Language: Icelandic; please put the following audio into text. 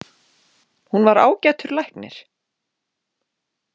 Hún var ágætur læknir.